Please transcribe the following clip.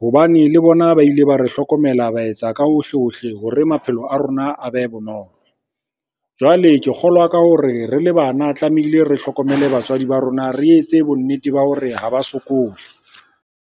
Hobane le bona ba ile ba re hlokomela, ba etsa ka hohle-hohle hore maphelo a rona a be bonolo. Jwale ke kgolwa ka hore re le bana tlamehile re hlokomele batswadi ba rona, re etse bonnete ba hore ha ba sokole.